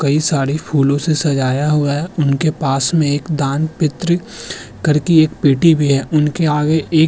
कई सारे फूलों से सजाया हुआ है। उनके पास में एक दान पित्र करके एक पेटी भी है। उनके आगे एक --